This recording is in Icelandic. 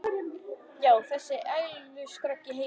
Já, þessi einlægustu skröll í heimi.